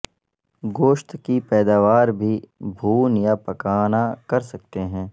گوشت کی پیداوار بھی بھون یا پکانا کر سکتے ہیں